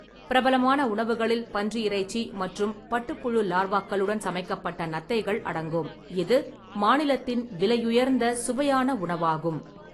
பிரபலமான உணவுகளில் பன்றி இறைச்சி மற்றும் பட்டுப்புழு லார்வாக்களுடன் சமைக்கப்பட்ட நத்தைகள் அடங்கும், இது மாநிலத்தின் விலையுயர்ந்த சுவையான உணவாகும்.